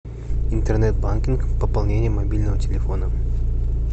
интернет банкинг пополнение мобильного телефона